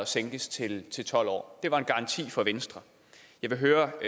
sænkes til til tolv år det var en garanti fra venstre jeg vil høre